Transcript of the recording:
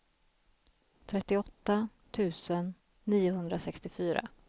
trettioåtta tusen niohundrasextiofyra